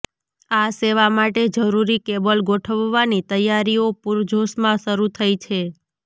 આ સેવા માટે જરૂરી કેબલ ગોઠવવાની તૈયારીઓ પૂરજોશમાં શરૂ થઈ છે